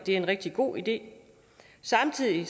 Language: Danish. er en rigtig god idé samtidig